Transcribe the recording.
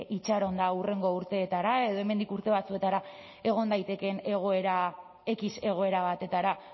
itxaron eta hurrengo urteetara edo hemendik urte batzuetara egon daitekeen x egoera batetara